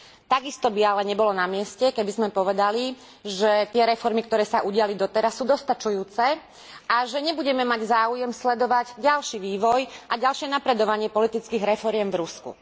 Takisto by ale nebolo na mieste, keby sme povedali, že tie reformy, ktoré sa udiali doteraz, sú dostačujúce a že nebudeme mať záujem sledovať ďalší vývoj a ďalšie napredovanie politických reforiem v Rusku.